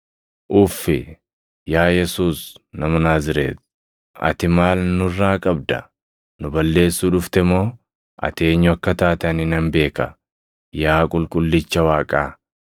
“Uffi! Yaa Yesuus nama Naazreeti, ati maal nurraa qabda? Nu balleessuu dhufte moo? Ati eenyu akka taate ani nan beeka, yaa Qulqullicha Waaqaa!”